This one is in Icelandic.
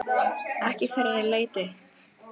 Ekki fyrr en ég leit upp.